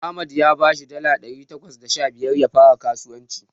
Ahmad ya bashi dala ɗari takwas da sha biyar ya fara skasuwanci.